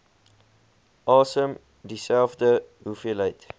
asem dieselfde hoeveelheid